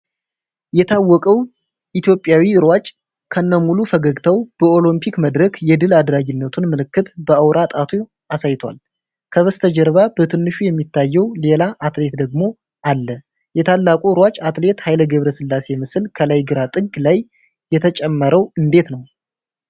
የታወቀው ኢትዮጵያዊ ሯጭ ከነሙሉ ፈገግታው በኦሎምፒክ መድረክ የድል አድራጊነቱን ምልክት በአውራ ጣቱ አሳይቷል። ከበስተጀርባ በትንሹ የሚታየው ሌላ አትሌት ደግሞ አለ። የታላቁ ሯጭ አትሌት ኃይሌ ገብረሥላሴ ምስል ከላይ ግራ ጥግ ላይ የተጨመረው እንዴት ነው?